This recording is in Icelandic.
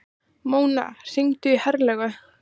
Mona, hringdu í Herlaugu.